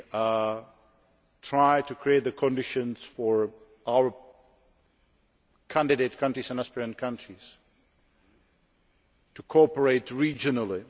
we are trying to create the conditions for our candidate countries and aspirant countries to cooperate regionally